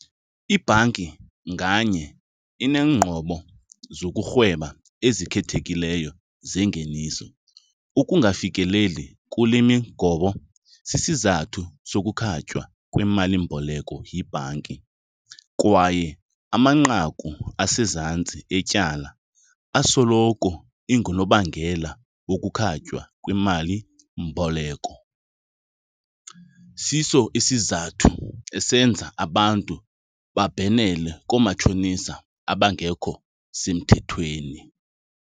Ibhanki nganye ineengqobo zokurhweba ezikhethekileyo zengeniso. Ukungafikeleli kule migobo sisizathu sokukhatywa kwemalimboleko yibhanki kwaye amanqaku asezantsi etyala asoloko ingunobangela wokukhatywa kwemalimboleko. Siso isizathu esenza abantu babhenele koomatshonisa abangekho semthethweni.